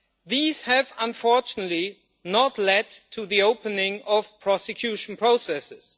These have unfortunately not led to the opening of prosecution processes.